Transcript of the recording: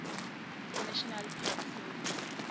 national park service